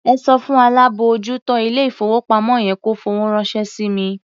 Ẹ sọ fún alábòójútó ilé-ìfowópamọ́ yẹn kó fowó ránṣẹ́ sí mi.